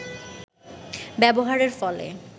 ব্যবহারের ফলে